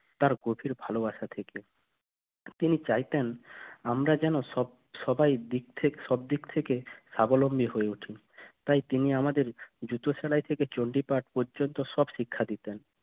তার গতির ভালোবাসা তিনি চাইতেন আমরা যেন সব সবাই সবদিক থেকে স্বাবলম্বী হয়ে ওঠে তাই তিনি আমাদের জুতো সেলাই থেকে চণ্ডীপা পর্যন্ত সব শিক্ষা দিতেন